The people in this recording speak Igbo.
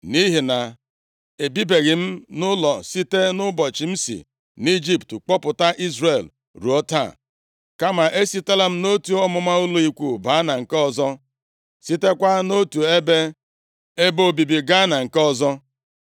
nʼihi na ebibeghị m nʼụlọ site nʼụbọchị m si nʼIjipt kpọpụta Izrel ruo taa. Kama e sitela m nʼotu ọmụma ụlọ ikwu baa na nke ọzọ, sitekwa nʼotu ebe obibi gaa ebe nke ọzọ.